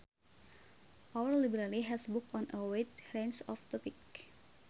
Our library has books on a wide range of topics